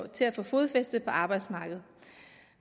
til at få fodfæste på arbejdsmarkedet